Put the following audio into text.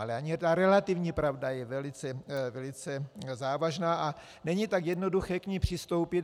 Ale i ta relativní pravda je velice závažná a není tak jednoduché k ní přistoupit.